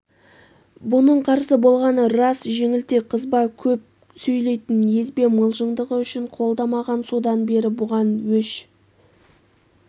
бұның қарсы болғаны рас жеңілтек қызба көп сөйлейтін езбе мылжыңдығы үшін қолдамаған содан бері бұған өш